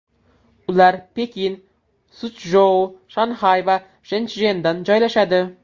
Ular Pekin, Suchjou, Shanxay va Shenchjenda joylashadi.